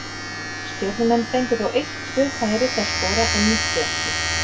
Stjörnumenn fengu þó eitt tvö færi til að skora en nýttu ekki.